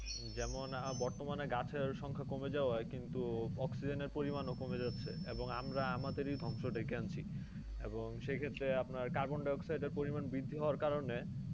যেমন বর্তমানে গাছের সংখ্যা কমে যাওয়ায় কিন্তু oxygen এর পরিমাণ কমে যাচ্ছে এবং আমরা আমাদের ধ্বংস ডেকে আনছি। এবং সেক্ষেত্রে আপনার carbon-dioxide এর পরিমাণ বৃদ্ধি হওয়ার কারণে,